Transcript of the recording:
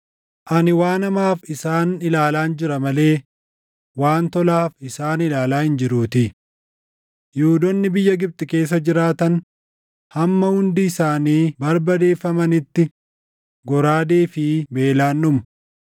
Ani waan hamaaf isaan ilaalaan jira malee waan tolaaf isaan ilaalaa hin jiruutii; Yihuudoonni biyya Gibxi keessa jiraatan hamma hundi isaanii barbadeeffamanitti goraadee fi beelaan dhumu.